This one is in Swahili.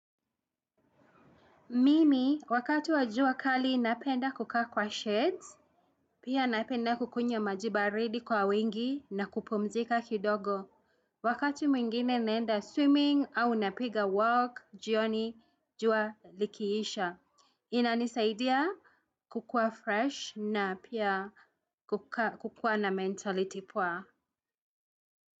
Mimi wakati wa jua kali napenda kukaa kwa sheds, pia napenda kukunywa maji baridi kwa wingi na kupumzika kidogo. Wakati mwingine naenda swimming au napiga walk jioni jua likiisha. Inanisaidia kukuwa fresh na pia kukuwa na mentality poa.